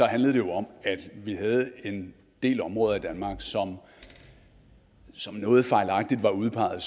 handlede det jo om at vi havde en del områder i danmark som noget fejlagtigt var udpeget